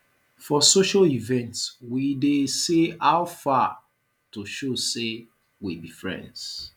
for social events we dey say how far to show sey we be friends